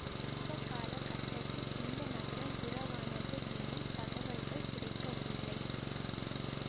எந்த கால கட்டத்தில் இந்த நகரம் உரவானது எனும் தகவல்கள் கிடைக்கவில்லை